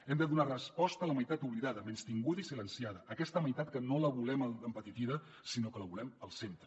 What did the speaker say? hem de donar resposta a la meitat oblidada menystinguda i silenciada aquesta meitat que no la volem empetitida sinó que la volem al centre